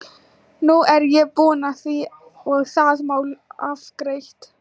Nú er ég búinn að því og það mál afgreitt.